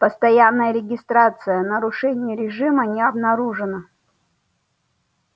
постоянная регистрация нарушений режима не обнаружено